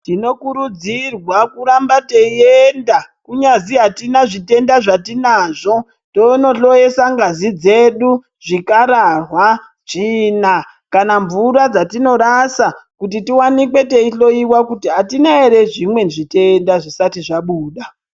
Tinokurudzirwa kuramba teienda kunyazi hatina zvitenda zvatinazvo tonohloyesa ngazi dzedu, zvikararwa, tsvina kana mvura dzatinorasa kuti tiwanikwe teihloyiwa kuti hatina ere zvimwe zvitenda zvisati zvabuda.